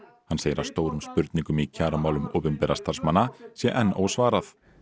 hann segir að stórum spurningum í kjaramálum opinberra starfsmanna sé enn ósvarað